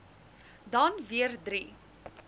dan weer drie